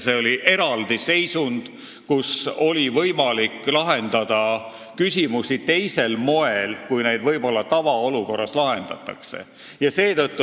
Tegu oli erandliku seisundiga, kus oli võimalik lahendada küsimusi teisel moel, kui neid tavaolukorras lahendatakse.